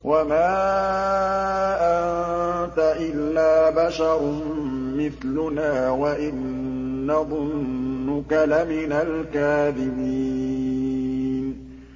وَمَا أَنتَ إِلَّا بَشَرٌ مِّثْلُنَا وَإِن نَّظُنُّكَ لَمِنَ الْكَاذِبِينَ